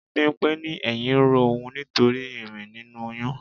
Bimpe ní ẹyin ń ro òun nítorí irin nínú oyún.